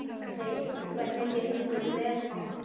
Hvernig gengur með hann?